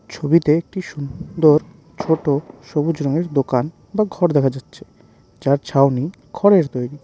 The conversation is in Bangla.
ছবিতে একটি সুন্দর ছোট সবুজ রঙের দোকান বা ঘর দেখা যাচ্ছে যার ছাওনি খড়ের তৈরি।